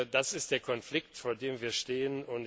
Das ist der Konflikt, vor dem wir stehen.